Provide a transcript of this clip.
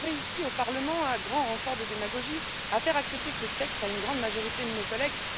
Vous avez réussi au Parlement, à grand renfort de démagogie, à faire accepter ce texte à une grande majorité de nos collègues.